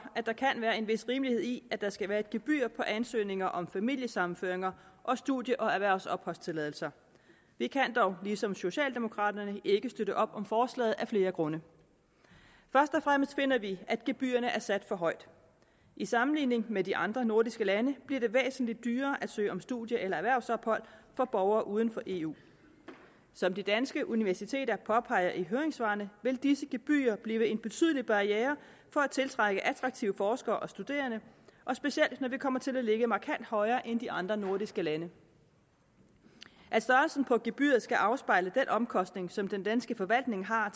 at der kan være en vis rimelighed i at der skal være et gebyr på ansøgninger om familiesammenføringer og studie og erhvervsopholdstilladelser vi kan dog ligesom socialdemokraterne ikke støtte op om forslaget af flere grunde først og fremmest finder vi at gebyrerne er sat for højt i sammenligning med de andre nordiske lande bliver det væsentlig dyrere at søge om studie eller erhvervsophold for borgere uden for eu som danske universiteter påpeger i høringssvaret vil disse gebyrer blive en betydelig barriere for at tiltrække attraktive forskere og studerende og specielt når vi kommer til at ligge markant højere end de andre nordiske lande at størrelsen på gebyret skal afspejle den omkostning som den danske forvaltning har